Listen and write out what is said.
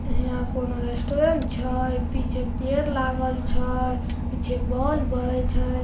हीया कोनो रेस्टोरेंट छै। पीछे पेड़ लागल छै पीछे बोल बरे छै।